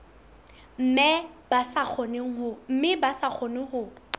mme ba sa kgone ho